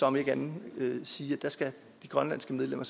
om ikke andet sige at der skal de grønlandske medlemmer